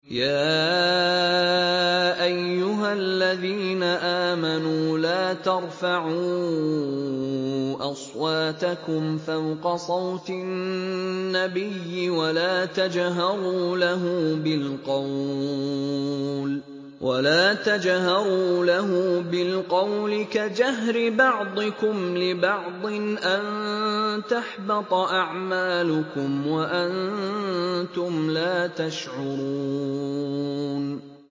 يَا أَيُّهَا الَّذِينَ آمَنُوا لَا تَرْفَعُوا أَصْوَاتَكُمْ فَوْقَ صَوْتِ النَّبِيِّ وَلَا تَجْهَرُوا لَهُ بِالْقَوْلِ كَجَهْرِ بَعْضِكُمْ لِبَعْضٍ أَن تَحْبَطَ أَعْمَالُكُمْ وَأَنتُمْ لَا تَشْعُرُونَ